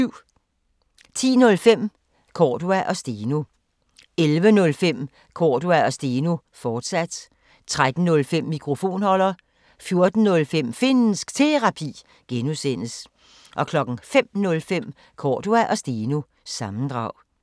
10:05: Cordua & Steno 11:05: Cordua & Steno, fortsat 13:05: Mikrofonholder 14:05: Finnsk Terapi (G) 05:05: Cordua & Steno – sammendrag